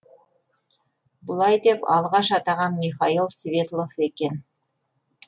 бұлай деп алғаш атаған михаил светлов екен